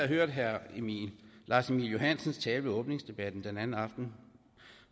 hørt herre lars emil johansens tale ved åbningsdebatten forleden aften